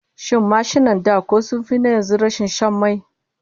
Shin mashinan da ko sun fi na yanzu rashin shan mai?